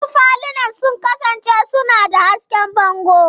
Wasu falunan sun kasance suna da hasken bango.